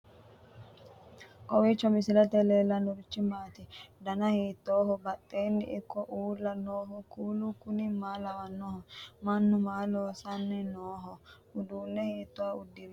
kowiicho misilete leellanorichi maati ? dana hiittooho ?abadhhenni ikko uulla noohu kuulu kuni maa lawannoho? mannu maa loosanni nooho uduunne hiitooha udirinoho